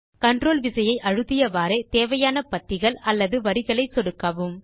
control விசையை அழுத்தியவாறே தேவையான பத்திகள் அல்லது வரிகளை சொடுக்கவும்